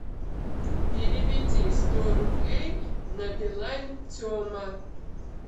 переведи сто рублей на билайн тема